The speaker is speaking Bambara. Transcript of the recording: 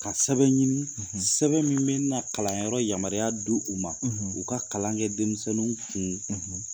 Ka sɛbɛn ɲini sɛbɛn min bɛ na kalanyɔrɔ yamaruya d'u u ma u ka kalan kɛ denmisɛnninw kun